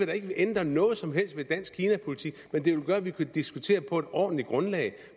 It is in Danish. da ikke ændre noget som helst ved dansk kinapolitik men det vil gøre at vi kan diskutere på et ordentligt grundlag